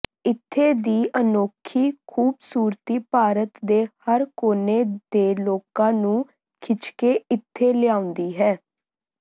ਇੱਥੇ ਦੀ ਅਨੌਖੀ ਖੂਬਸੂਰਤੀ ਭਾਰਤ ਦੇ ਹਰ ਕੋਨੇ ਦੇ ਲੋਕਾਂ ਨੂੰ ਖਿੱਚਕੇ ਇੱਥੇ ਲਿਆਉਂਦੀ ਹੈ